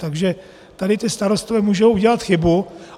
Takže tady ti starostové můžou udělat chybu.